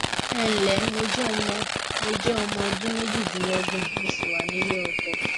ẹǹlẹ mo jẹ ọmọ mo jẹ ọmọ ọdún méjìdínlọgbọn mo sì wà nílé ọkọ